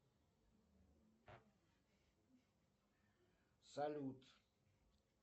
салют